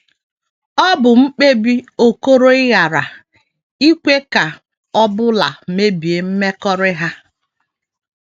Ọ bụ mkpebi Okoroịghara ikwe ka ọ bụla mebie mmekọrị ha.